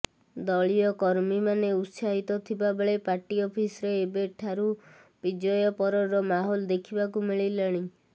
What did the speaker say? ଦଳୀୟ କର୍ମୀମାନେ ଉତ୍ସାହିତ ଥିବା ବେଳେ ପାର୍ଟି ଅଫିସରେ ଏବେ ଠାରୁ ବିଜୟ ପରର ମାହୋଲ ଦେଖିବାକୁ ମିଳିଲାଣି